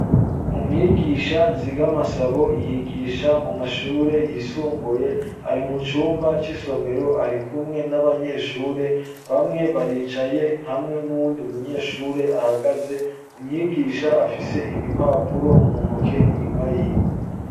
Umwigisha nzigamasabo yigisha mu mashure yisumbuye ari mu cumba c'isomero ari kumwe n'abanyeshure bamwe baricaye hamwe n'uwundi munyeshure ahagaze umwigisha afise ibipapuro mu ntoke inyuma yiwe.